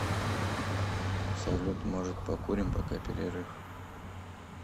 салют может покурим пока перерыв